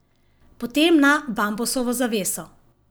Potem na bambusovo zaveso.